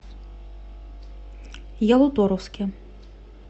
ялуторовске